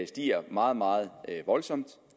stiger meget meget voldsomt og